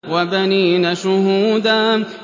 وَبَنِينَ شُهُودًا